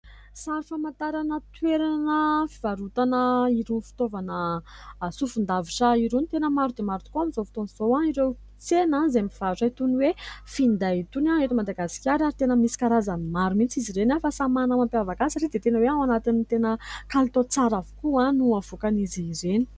Sary famantarana toerana fivarotana irony fitaovana asofon-davitra irony ; tena maro dia maro tokoa amin'izao fotoana izao ireo tsena izay mivarotra itony hoe finday itony eto Madagasikara ary tena misy karazany maro mihintsy izy ireny fa samy manana n'y mampihavaka ahy satria dia tena hoe ao anatin'ny tena kalitao tsara avokoa no havoakan'izy ireny.